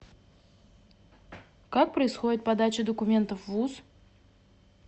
как происходит подача документов в вуз